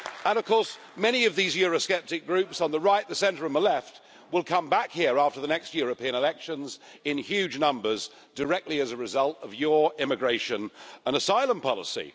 And of course many of these Eurosceptic groups on the right, the centre and the left will come back here after the next European elections in huge numbers directly as a result of your immigration and asylum policy.